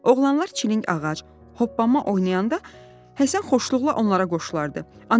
Oğlanlar çilingağac, hoppanma oynayanda Həsən xoşluqla onlara qoşulardı.